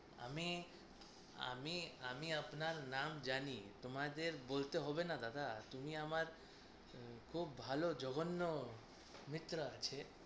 আমি আমি আমি আপনার নাম জানি। তোমাদের বলতে হবেনা দাদা। তুমি আমার খুব ভালো জঘন্য মিত্র আছে।